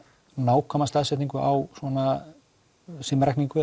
nákvæma staðsetningu á svona